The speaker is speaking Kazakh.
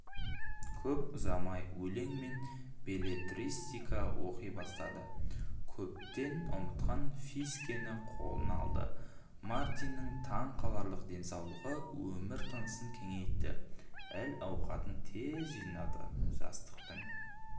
көп ұзамай өлең мен беллетристика оқи бастады көптен ұмытқан фискені қолына алды мартиннің таң қаларлық денсаулығы өмір тынысын кеңейтті әл-ауқатын тез жинады жастықтың